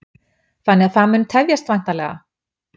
Þannig að það mun tefjast væntanlega?